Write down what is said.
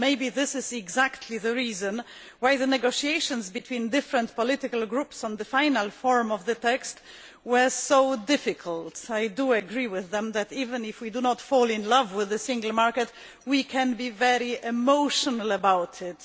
Maybe this is exactly the reason why the negotiations between different political groups on the final form of the text were so difficult. I do agree with them that even if we do not fall in love with the Single Market, we can be very emotional about it.